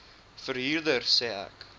verhuurder sê ek